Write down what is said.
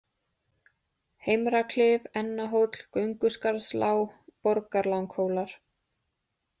Heimraklif, Ennahóll, Gönguskarðslág, Borgarlanghólar